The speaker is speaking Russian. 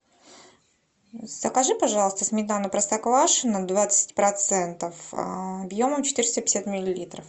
закажи пожалуйста сметану простоквашино двадцать процентов объемом четыреста пятьдесят миллилитров